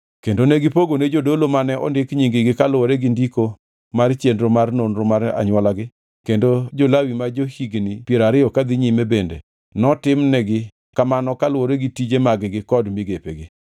Kendo ne gipogone jodolo mane ondik nying-gi kaluwore gi ndiko mar chenro mar nonro mar anywolagi kendo jo-Lawi ma jo-higni piero ariyo kadhi nyime bende notimnigi kamano kaluwore gi tije mag-gi kod migepegi.